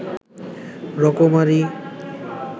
রকমারি